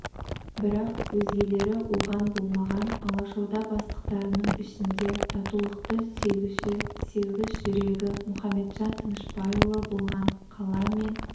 бірақ өзгелері оған болмаған алашорда бастықтарының ішінде татулықты сүйгіші сезгіш жүрегі мұқаметжан тынышпайұлы болған қала мен